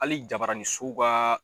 Ali jabarani so kaa